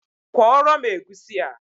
Kwọrọ m egusi a